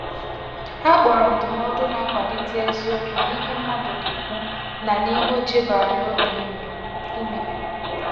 Ha kpọrọ ndụmọdụ n'akwalite eziokwu n’ìhè mmadụ na-ekwu ná n’ìhè o chebara n’obi ime. ime.